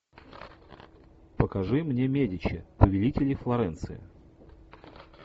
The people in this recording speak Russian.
покажи мне медичи повелители флоренции